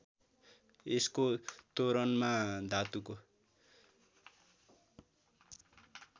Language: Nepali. यसको तोरणमा धातुको